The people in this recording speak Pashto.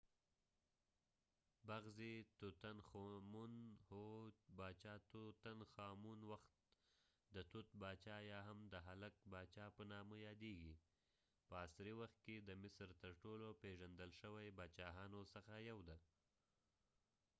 هو! باچاتوتنخامون tutankhamun ،بغضی وخت د توت باچا یا هم د هلک باچا په نامه یاديږی . په عصری وخت کې د مصر تر ټولو پیژندل شوي باچاهانو څخه یو دي